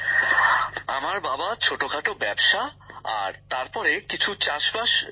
গ্যামর জীঃ আমার বাবা ছোটখাটো ব্যাবসা আর তার পরে কিছু চাষবাস সহ নানা কাজ করেন